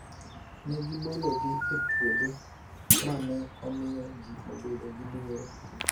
ne gibologi e puodho, ma ne omiyo ji obedo gi luoro.